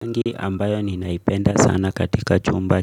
Rangi ambayo ninaipenda sana katika chumba